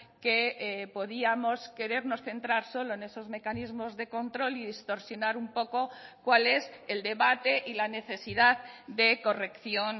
que podíamos querernos centrar solo en esos mecanismos de control y distorsionar un poco cual es el debate y la necesidad de corrección